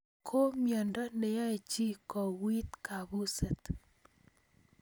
ko miondo ne yae chii kouit kapuset